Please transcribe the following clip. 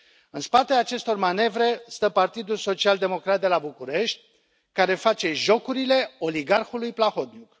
În spatele acestor manevre stă Partidul Social Democrat de la București, care face jocurile oligarhului Plahotniuc.